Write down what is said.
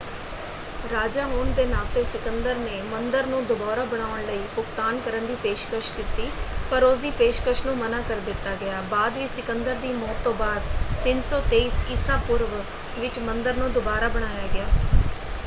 ਰਾਜਾ ਹੋਣ ਦੇ ਨਾਤੇ ਸਿਕੰਦਰ ਨੇ ਮੰਦਰ ਨੂੰ ਦੁਬਾਰਾ ਬਣਾਉਣ ਲਈ ਭੁਗਤਾਨ ਕਰਨ ਦੀ ਪੇਸ਼ਕਸ਼ ਦਿੱਤੀ ਪਰ ਉਸਦੀ ਪੇਸ਼ਕਸ਼ ਨੂੰ ਮਨ੍ਹਾਂ ਕਰ ਦਿੱਤਾ ਗਿਆ। ਬਾਅਦ ਵਿੱਚ ਸਿਕੰਦਰ ਦੀ ਮੌਤ ਤੋਂ ਬਾਅਦ 323 ਈਸਾ ਪੂਰਵ ਵਿੱਚ ਮੰਦਰ ਨੂੰ ਦੁਬਾਰਾ ਬਣਾਇਆ ਗਿਆ।